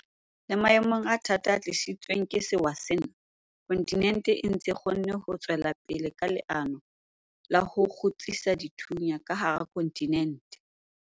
Le maemong a thata a tlisitsweng ke sewa sena, kontinente e ntse e kgonne ho tswela pele ka leano la ho 'kgutsisa dithunya' ka hara kontinente.